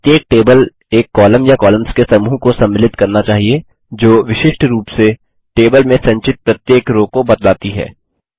प्रत्येक टेबल एक कॉलम या कॉलम्स के समूह को सम्मिलित करना चाहिये जो विशिष्ट रूप से टेबल में संचित प्रत्येक रो को बतलाती है